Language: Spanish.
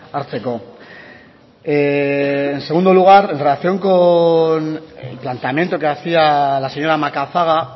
hartzeko en segundo lugar en relación con el planteamiento que hacía la señora macazaga